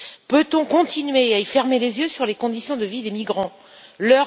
Peut on continuer à fermer les yeux sur les conditions de vie des migrants dans ces pays?